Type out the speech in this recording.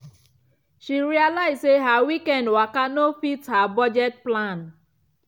she realise say her weekend waka no fit her budget plan.